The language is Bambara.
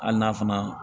Hali n'a fana